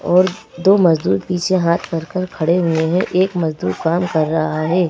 और दो मजदूर पीछे हाथ रखकर खड़े हुए हैं एक मजदूर काम कर रहा है।